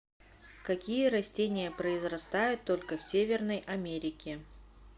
какие растения произрастают только в северной америке